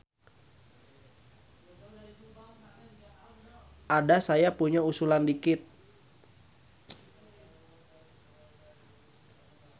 Ada saya punya usulan dikit.